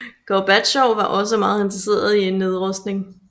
Gorbatjov var også meget interesseret i en nedrustning